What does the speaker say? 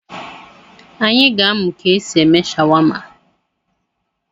Anyị ga-amụ ka e si eme shawama.